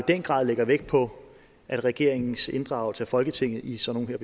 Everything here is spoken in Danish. den grad lægger vægt på at regeringens inddragelse af folketinget i sådan